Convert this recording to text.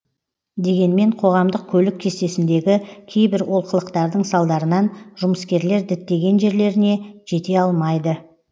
дегенмен қоғамдық көлік кестесіндегі кейбір олқылықтардың салдарынан жұмыскерлер діттеген жерлеріне жете алмайды